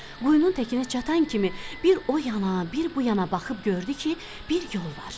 Quyunun təkinə çatan kimi bir o yana, bir bu yana baxıb gördü ki, bir yol var.